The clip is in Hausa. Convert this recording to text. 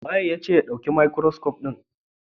Waye yace ka dauki stethoscope din nan?